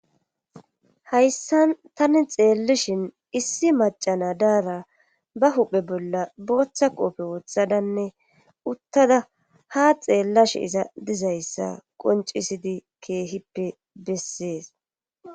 Hayssan tani xeellishin issi macana daara ba huphe bolla booththa qoofe wothadanne uttada ha xeellash iza dizayssa qoncisidi keehippe bessees.